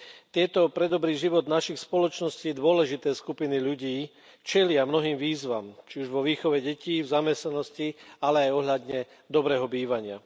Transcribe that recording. Tieto pre dobrý život našich spoločností dôležité skupiny ľudí čelia mnohým výzvam, či už vo výchove detí, v zamestnanosti, ale aj pokiaľ ide o dobré bývanie.